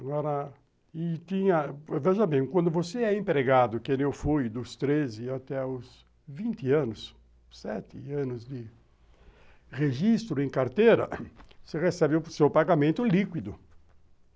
Agora, e tinha... Veja bem, quando você é empregado, que eu fui dos treze até os vinte anos, sete anos de registro em carteira, você recebeu o seu pagamento líquido.